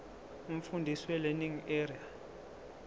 umfundisi welearning area